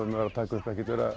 að taka upp ekkert vera